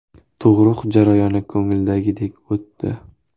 Tug‘ruq jarayoni ko‘ngildagidek o‘tdi.